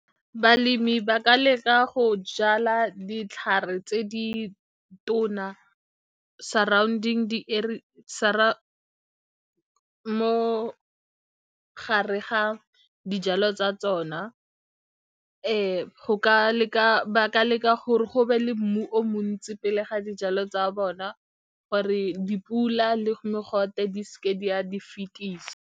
Balemi ba ka leka go jala ditlhare tse di tona surrounding mo gare ga dijalo tsa tsona ba ka leka gore go be le mmu o montsi pele ga dijalo tsa bona gore dipula le mogote di se ke di a di fetisa.